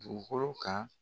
Dugukolo kan.